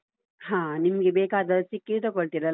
ಹಾ, ನಿಮ್ಗೆ ಬೇಕಾದದ್ದು ಸಿಕ್ಕಿದ್ರೆ ತಗೊಳ್ಳ್ತೀರಲ್ಲಾ.